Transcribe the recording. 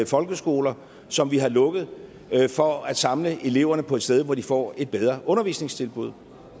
folkeskoler som vi har lukket for at samle eleverne på et sted hvor de får et bedre undervisningstilbud